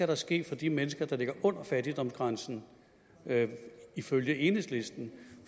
der ske for de mennesker der ligger under fattigdomsgrænsen ifølge enhedslisten